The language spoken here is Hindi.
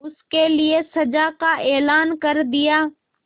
उसके लिए सजा का ऐलान कर दिया